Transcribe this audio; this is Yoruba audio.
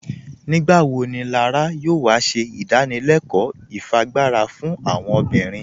Nígbàwọ́ ní Lárà yóò wà sí ìdánìlẹ̀kọ́ ìfíágbarà fún àwọn obìnrin?